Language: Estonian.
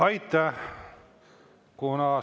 Aitäh!